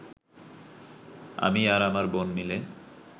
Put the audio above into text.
আমি আর আমার বোন মিলে